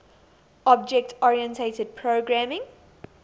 object oriented programming